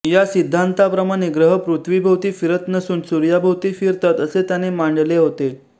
या सिद्धान्ताप्रमाणे ग्रह पृथ्वीभोवती फिरत नसून सूर्याभोवती फिरतात असे त्याने मांडले होते